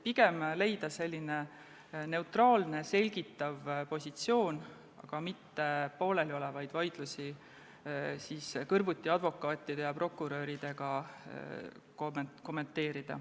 Pigem tuleks leida neutraalne selgitav positsioon ning mitte hakata pooleliolevaid vaidlusi kõrvuti advokaatide ja prokuröridega kommenteerima.